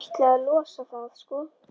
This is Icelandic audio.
Ætlaði að losa það, sko.